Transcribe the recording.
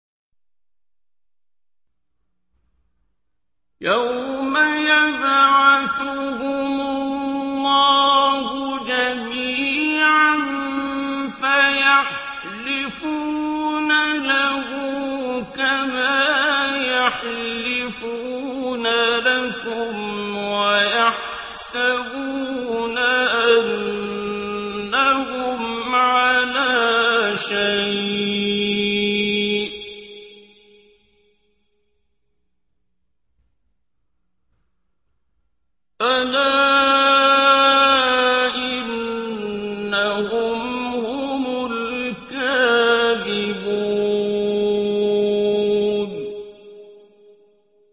يَوْمَ يَبْعَثُهُمُ اللَّهُ جَمِيعًا فَيَحْلِفُونَ لَهُ كَمَا يَحْلِفُونَ لَكُمْ ۖ وَيَحْسَبُونَ أَنَّهُمْ عَلَىٰ شَيْءٍ ۚ أَلَا إِنَّهُمْ هُمُ الْكَاذِبُونَ